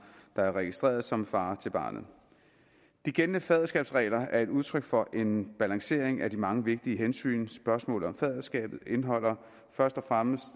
der er registreret som far til barnet de gældende faderskabsregler er et udtryk for en balancering af de mange vigtige hensyn spørgsmålet om faderskabet indeholder først og fremmest